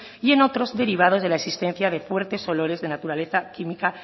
y en otros derivados de la existencia de fuertes olores de naturaleza química